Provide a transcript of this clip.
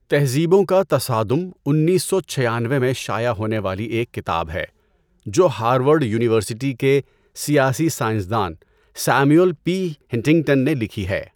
تہذیبوں کا تصادم انیس سو چھیانوے میں شائع ہونے والی ایک کتاب ہے جو ہارورڈ یونیورسٹی کے سیاسی سائنسدان سیموئیل پی ہنٹنگٹن نے لکھی ہے۔